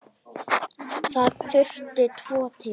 Það þurfti tvo til.